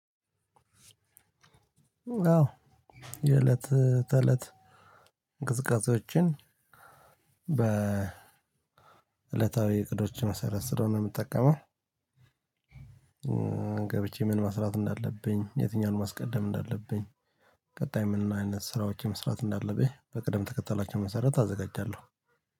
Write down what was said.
አዎ የእለት ተእለት እንቅስቃሴዎችን በ እለታዊ እቅዶችን መሰረት ስለሆነ የምጠቀመው። ገብቼ ምን መስራት እንዳለብኝ የትኛውን ማስቀደም እንዳለብኝ ቀጣይ ምን አይነት ስራዎችን መስራት እንዳለብኝ በቅደም ተከተላቸው መሰረት አዘጋጃለሁ።